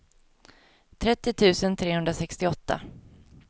trettio tusen trehundrasextioåtta